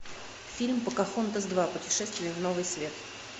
фильм покахонтас два путешествие в новый свет